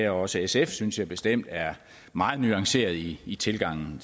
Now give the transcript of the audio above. også sf synes jeg bestemt er meget nuancerede i i tilgangen